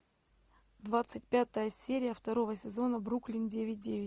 двадцать пятая серия второго сезона бруклин девять девять